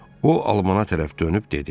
O almana tərəf dönüb dedi: